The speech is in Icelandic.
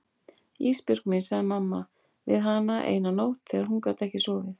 Ísbjörg mín, sagði mamma við hana eina nótt þegar hún gat ekki sofið.